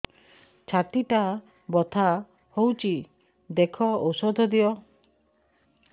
ଛାତି ଟା ବଥା ହଉଚି ଦେଖ ଔଷଧ ଦିଅ